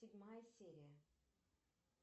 седьмая серия